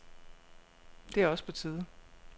Det er også på tide.